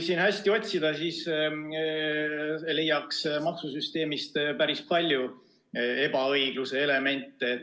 Kui hästi otsida, siis leiaks maksusüsteemist päris palju ebaõigluse elemente.